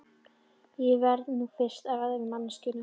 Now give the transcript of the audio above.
Ég verð nú fyrst að ræða við manneskjuna.